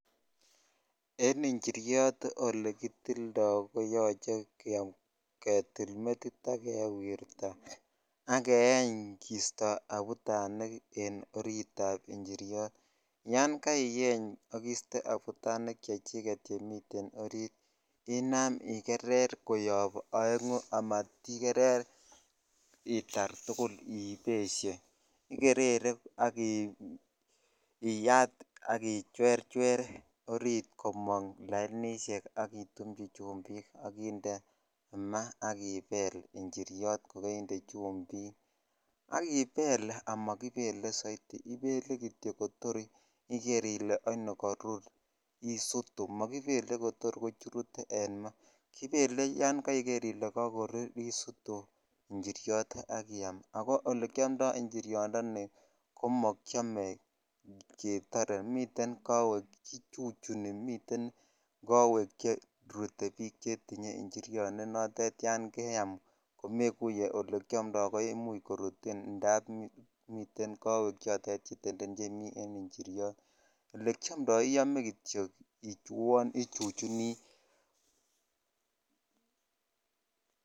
En njiriot olekitildo koyoche ketil metil metit ak kewirta ak keeny kisto abutanik en oritab njiriot, yoon kaieny ak iste abutanik chechiket chemiten oriit inam ikerer koyob oeng'u amatikerer itar tuul ibeshe ikerere ak iyat ak ichwerchwer oriit komong lainishek ak itumchi chumbik ak inde maa ak ibeel njiriot ko koinde chumbik ak ibeel amokibele soiti ibeele kitiok kotor iker ilee oini korur isutu, mokibele kotor kochurut en maa, kibele yoon koiker ilee kokorur isutu njiriot ak iam, ak ko olekiomndo njiriondoni komokiome ketore, miten kowek kichuchuni miten kowek cherute biik chetinye njiriot nenotet yoon keam komekuye olekiomndo koimuch korutin ndab miten kowek chotet chetenden chemii en njiriot, elekiomndo iome kitiok kouon ichuchuni.